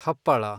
ಹಪ್ಪಳ